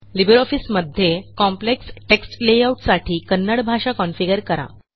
Libre ऑफिसमध्ये complex text layout साठी कन्नड भाषा कॉन्फिगर करा